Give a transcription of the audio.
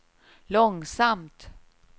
långsamt